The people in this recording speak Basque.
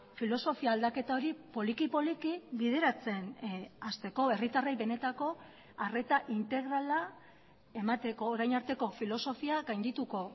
filosofia aldaketa hori poliki poliki bideratzen hasteko herritarrei benetako arreta integrala emateko orain arteko filosofia gaindituko